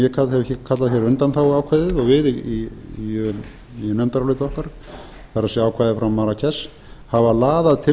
ég kalla hér undanþáguákvæðið og við í nefndaráliti okkar það er ákvæðið frá marrakesh hafa laðað til